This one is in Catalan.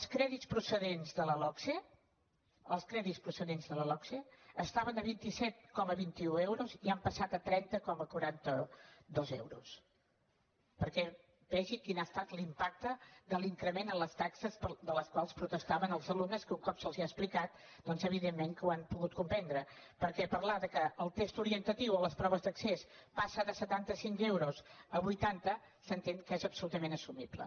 els crèdits procedents de la logse estaven a vint set coma vint un euros i han passat a trenta coma quaranta dos euros perquè vegi quin ha estat l’impacte de l’increment en les taxes per les quals protestaven els alumnes que un cop se’ls ha explicat doncs evidentment que ho han pogut comprendre perquè parlar que el test orientatiu o les proves d’accés passen de setanta cinc euros a vuitanta s’entén que és absolutament assumible